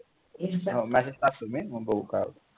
हो message टाकतो मी मग बघू काय होते ते